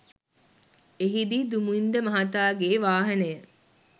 එහිදී දුමින්ද මහතාගේ වාහනය